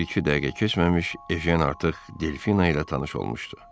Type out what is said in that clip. Bir-iki dəqiqə keçməmiş Ejen artıq Delfina ilə tanış olmuşdu.